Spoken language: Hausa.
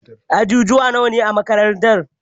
Ajujuwa nawa ne a makarantar?